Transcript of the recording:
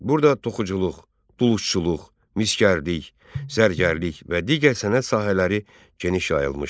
Burada toxuculuq, dulusçuluq, misgərlik, zərgərlik və digər sənət sahələri geniş yayılmışdı.